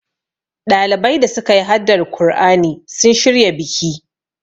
ɗalibai da suka yi haddar kur'ani sun shirya biki